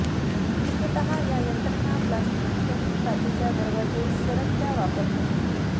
मुख्यतः या यंत्रणा प्लास्टिक फ्रेम काचेच्या दरवाजे सरकत्या वापरले